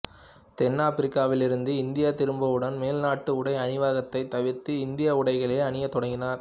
தென்னாப்பிரிக்காவிலிருந்து India திரும்பியவுடன் மேல்நாட்டு உடை அணிவதைத் தவிர்த்து இந்திய உடைகளையே அணியத் தொடங்கினார்